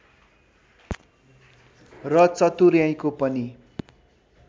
र चतुर्‍याइँको पनि